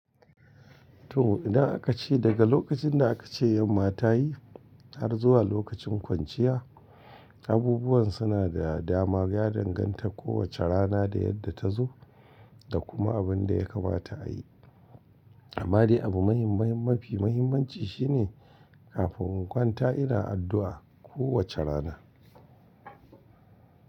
To ina aka ce daga lokacin da aka ce yan mata yi har zuwa lokacin kwanciya, abubuwan suna da dama. Ya danganta kowace rana da yadda ta zo da kuma abin da ya kamata a yi. Amma dai abu muhimmaim mafi muhimmanci shi ne kafin in kwanta ina addu'a kowace rana.